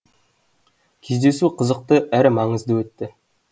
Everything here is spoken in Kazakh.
кездесу қызықты әрі маңызды өтті